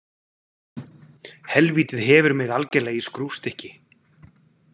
Helvítið hefur mig algerlega í skrúfstykki.